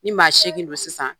Ni ma seegin don sisan